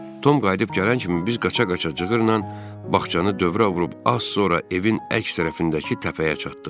Tom qayıdıb gələn kimi biz qaça-qaça cığırlan bağçanı dövrə vurub az sonra evin əks tərəfindəki təpəyə çatdıq.